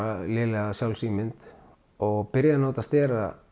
lélega sjálfsímynd og byrja að nota stera